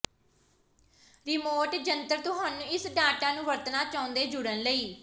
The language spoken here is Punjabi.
ਰਿਮੋਟ ਜੰਤਰ ਤੁਹਾਨੂੰ ਇਸ ਡਾਟਾ ਨੂੰ ਵਰਤਣਾ ਚਾਹੁੰਦੇ ਜੁੜਨ ਲਈ